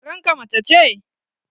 Karen ka mace ce?